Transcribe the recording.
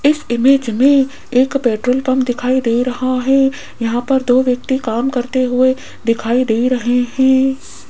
इस इमेज में एक पेट्रोल पंप दिखाई दे रहा है यहां पर दो व्यक्ति काम करते हुए दिखाई दे रहे हैं।